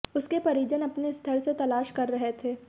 उसके परिजन अपने स्तर से तलाश कर रहे थे